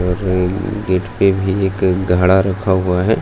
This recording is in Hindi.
र गेट पे भी एक गाडा रखा हुआ ह।